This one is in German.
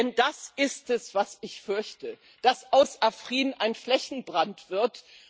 Denn das ist es, was ich befürchte dass aus Afrin ein Flächenbrand wird.